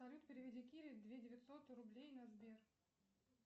салют переведи кире две девятьсот рублей на сбер